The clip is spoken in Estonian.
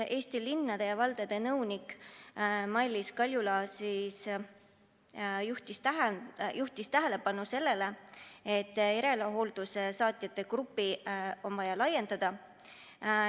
Eesti Linnade ja Valdade Liidu nõunik Mailiis Kaljula juhtis tähelepanu sellele, et järelhooldusteenuse saajate gruppi on vaja laiendada.